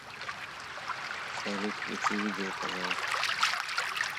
салют включи видео пожалуйста